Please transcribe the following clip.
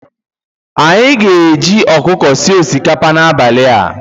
Anyi ga e ji ọkụkọ sie osikapa n'abalị a